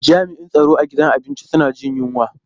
Jami'in tsaron a gidan abinci suna jin yunwa.